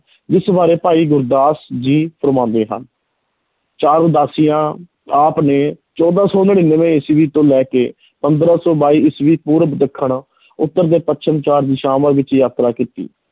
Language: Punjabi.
ਜਿਸ ਬਾਰੇ ਭਾਈ ਗੁਰਦਾਸ ਜੀ ਫੁਰਮਾਉਂਦੇ ਹਨ, ਚਾਰ ਉਦਾਸੀਆਂ, ਆਪ ਨੇ ਚੌਦਾਂ ਸੌ ਨੜ੍ਹਿਨਵੇਂ ਈਸਵੀ ਤੋਂ ਲੈ ਕੇ ਪੰਦਰਾਂ ਸੌ ਬਾਈ ਈਸਵੀ ਪੂਰਬ, ਦੱਖਣ ਉੱਤਰ ਤੇ ਪੱਛਮ ਚਾਰ ਦਿਸ਼ਾਵਾਂ ਵਿੱਚ ਯਾਤਰਾ ਕੀਤੀ।